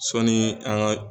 Sɔɔni an ka.